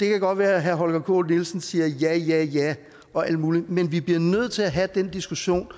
det kan godt være at herre holger k nielsen siger ja ja ja og alt muligt men vi bliver nødt til at have den diskussion